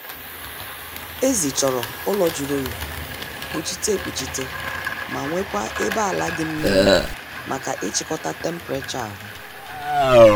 Ezi chọrọ ụlọ jụrụ oyi, kpuchite ekpuchite ma nwekwaa ebe ala dị mmiri maka ịchịkọta temperachọ ahu